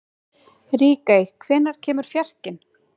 Ríkey, hvenær kemur fjarkinn?